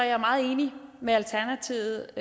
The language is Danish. jeg meget enig med alternativet